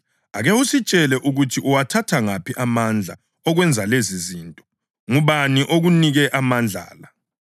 Bathi, “Ake usitshele ukuthi uwathatha ngaphi amandla okwenza lezizinto. Ngubani okunike amandla la?”